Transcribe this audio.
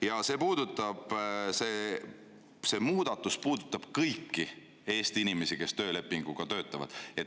Ja see muudatus puudutab kõiki Eesti inimesi, kes töölepinguga töötavad.